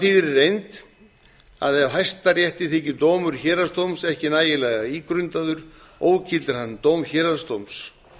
reynd að ef hæstarétti þykir dómur héraðsdóms ekki nægilega ígrundaður ógildir hann dóm héraðsdóms